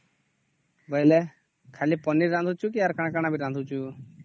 ଖାଲି ପନିର ରାନ୍ଧିଚୁ ନ ଆଉ କଣ କଣ ରାନ୍ଧିଚୁ